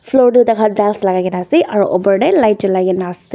floor tu takhan tiles lakaikaena ase aro opor tae light cholaikae na ase.